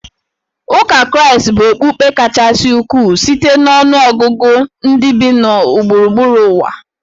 Ụka Kraịst bụ okpukpe kachasị ukwuu site na ọnụ ọgụgụ ndị bi na gburugburu ụwa